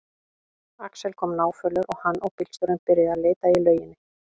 Axel kom náfölur og hann og bílstjórinn byrjuðu að leita í lauginni.